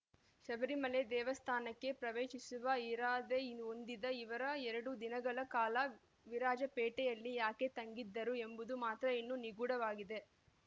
ಶಬರಿಮಲೆ ದೇವಸ್ಥಾನಕ್ಕೆ ಪ್ರವೇಶಿಸುವ ಇರಾದೆ ಹೊಂದಿದ್ದ ಇವರು ಎರಡು ದಿನಗಳ ಕಾಲ ವಿರಾಜಪೇಟೆಯಲ್ಲಿ ಯಾಕೆ ತಂಗಿದ್ದರು ಎಂಬುದು ಮಾತ್ರ ಇನ್ನೂ ನಿಗೂಢವಾಗಿದೆ